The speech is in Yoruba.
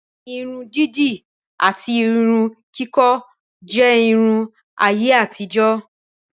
Irun dídì àti Irun kíkọ́ jẹ́ Irun ayé àtijó